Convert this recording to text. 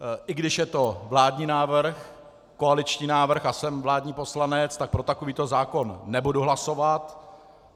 I když je to vládní návrh, koaliční návrh a jsem vládní poslanec, tak pro takovýto zákon nebudu hlasovat.